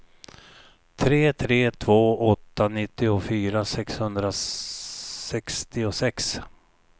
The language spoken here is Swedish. tre tre två åtta nittiofyra sexhundrasextiosex